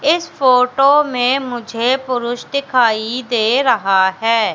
इस फोटो में मुझे पुरुष दिखाई दे रहा है।